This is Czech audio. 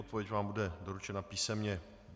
Odpověď vám bude doručena písemně.